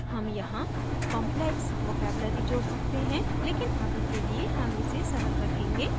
हम यहाँ complex vocabulary जोड सकते हैं लेकिन अभी के लिए हम इसे सरल रखेंगे